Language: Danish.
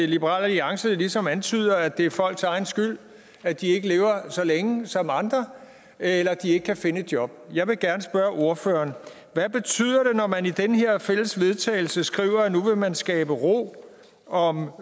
liberal alliance ligesom antyder at det er folks egen skyld at de ikke lever så længe som andre eller at de ikke kan finde et job jeg vil gerne spørge ordføreren hvad betyder det når man i den her fælles vedtagelse skriver at nu vil man skabe ro om